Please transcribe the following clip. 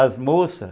As moças?